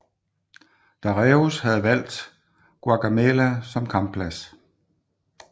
Dareius havde valgt Gaugamela som kampplads